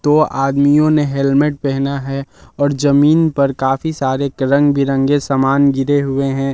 दो आदमियों ने हेलमेट पहना है और जमीन पर काफी सारे रंग बिरंगे सामान गिरे हुए हैं।